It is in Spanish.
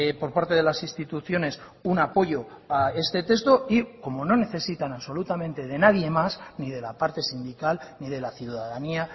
por parte de las instituciones un apoyo a este texto y como no necesitan absolutamente de nadie más ni de la parte sindical ni de la ciudadanía